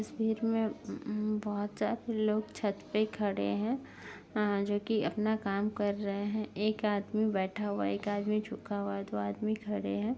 तस्वीर में उम्म उम्म बहोत सारे लोग छत पे खड़े हैं अ जो कि अपना काम कर रहे हैं। एक आदमी बैठा हुआ एक आदमी झुका हुआ दो आदमी खड़े हैं।